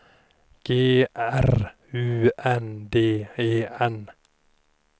G R U N D E N